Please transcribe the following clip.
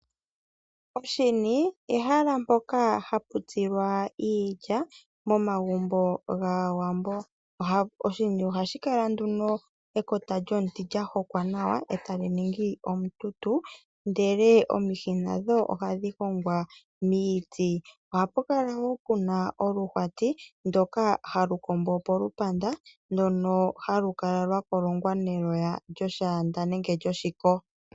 Oshini, ehala mpoka hapu tsilwa iilya momagumbo gAawambo. Oshini oha shikala nduno ekota lyomuti lyahokwa nawa ndele eta gu ningi omututu, ndele omihi nadho oha dhi hongwa miiti. Oha pukala wo puna oluhwati ndoka ha lu kombo polupanda ndoka ha lu kala lwakolongwa neloya lyoshaanda nenge lyoshiko.